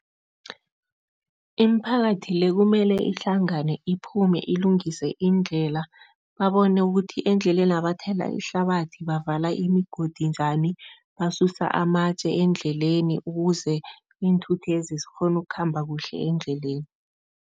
Imiphakathi le, kumele ihlangane, iphume, ilungise iindlela, babone ukuthi endlelena bathela ihlabathi, bavala imigodi njani, basusa amatje endleleni ukuze iinthuthezi zikghone ukukhamba kuhle endleleni.